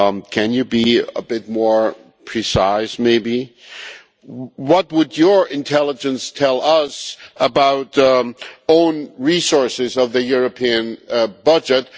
Can you be a bit more precise? What would your intelligence tell us about own resources of the European budget?